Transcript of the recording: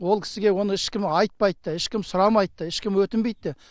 ол кісіге оны ешкім айтпайды да ешкім сұрамайды да ешкім өтінбейді де